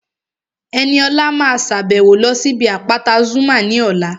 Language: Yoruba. Ẹniọlá máa sàbẹ̀wo lọ sí ibi àpáta Zuma ní ọ̀la